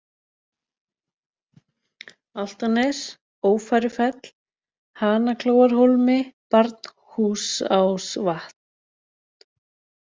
Álftanes, Ófærufell, Hanaklóarhólmi, Barnhúsásvatn